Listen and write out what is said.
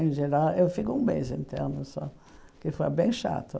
Em geral, eu fico um mês interno só, que foi bem chato.